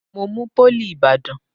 Mo mú pólì ìbàdàn.